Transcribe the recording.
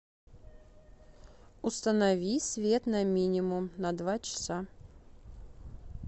установи свет на минимум на два часа